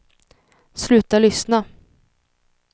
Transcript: sluta lyssna